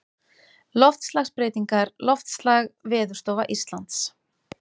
Loftslagsbreytingar Loftslag Veðurstofa Íslands.